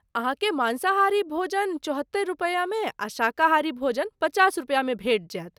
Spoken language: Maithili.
अहाँकेँ माँसाहारी भोजन चौहत्तरि रुपयामे आ शाकाहारी भोजन पचास रुपयामे भेटि जायत।